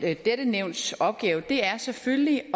er dette nævns opgave er selvfølgelig